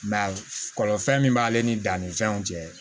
kɔlɔlɔ fɛn min b'ale ni dannifɛnw cɛ